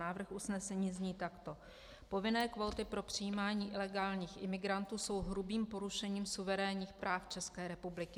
Návrh usnesení zní takto: "Povinné kvóty pro přijímání ilegálních imigrantů jsou hrubým porušením suverénních práv České republiky.